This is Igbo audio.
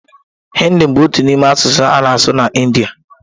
Hị́ndị bụ otu n'ime asụsụ a na-asụ na Ịndía.